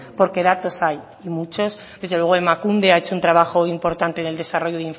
porque datos hoy y muchos desde luego emakunde ha hecho un trabajo importante en el desarrollo